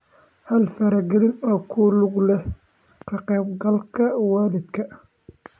Hal faragelin oo ku lug leh ka qaybgalka waalidka.